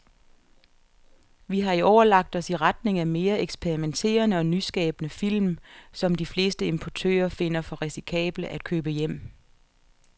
Vi har i år lagt os i retning af mere eksperimenterede og nyskabende film, som de fleste importører finder for risikable at købe hjem.